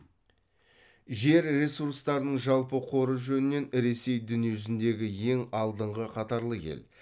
жер ресурстарының жалпы қоры жөнінен ресей дүниежүзіндегі ең алдыңғы қатарлы ел